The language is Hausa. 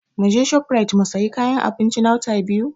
Muje Shofrait mu sayi kayan abinci na Wata Biyu?